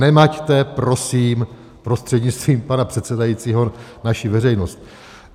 Nemaťte prosím prostřednictvím pana předsedajícího naši veřejnost.